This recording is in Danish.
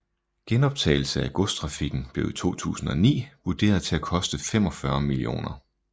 Genoptagelse af godstrafikken blev i 2009 vurderet til at koste 45 mill